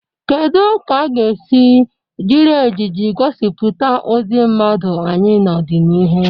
Kedu ka a ga-esi jiri ejiji gosipụta ụdị mmadụ anyị n'ọdịnihu?